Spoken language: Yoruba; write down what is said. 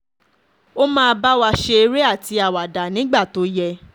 ó ma báwa ṣe eré àti àwàdà nígbà tó yẹ